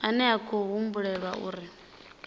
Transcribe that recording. ane a khou humbulelwa uri